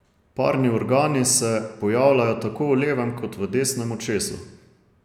Parni organi se pojavljajo tako v levem kot v desnem očesu.